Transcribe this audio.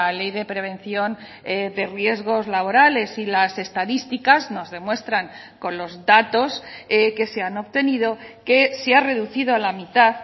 ley de prevención de riesgos laborales y las estadísticas nos demuestran con los datos que se han obtenido que se ha reducido a la mitad